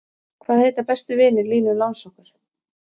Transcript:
Hvaða heita bestu vinir Línu langsokkur?